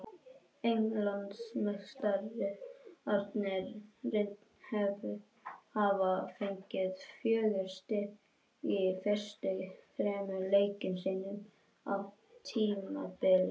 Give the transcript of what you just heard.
Englandsmeistararnir hafa fengið fjögur stig úr fyrstu þremur leikjum sínum á tímabilinu.